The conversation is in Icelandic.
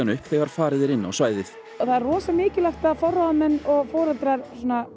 upp þegar farið var inn á svæðið það er rosa mikilvægt að forráðamenn og foreldrar